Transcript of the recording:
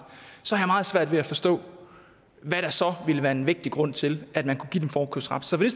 så har jeg meget svært ved at forstå hvad der så ville være en vægtig grund til at man kunne give dem forkøbsret så vil